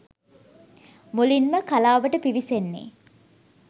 මුලින්ම කලාවට පිවිසෙන්නේ